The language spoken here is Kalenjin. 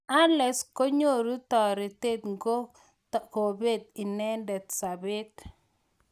Allex konyoru toretet ngitkobet inendet sabet.